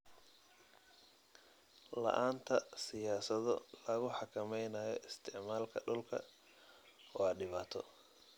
La'aanta siyaasado lagu xakameynayo isticmaalka dhulka waa dhibaato.